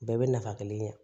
Bɛɛ bɛ nafa kelen kɛ